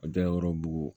A da yɔrɔ bugu